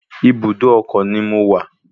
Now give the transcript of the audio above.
Ibùdó ọkọ̀ ni mo wà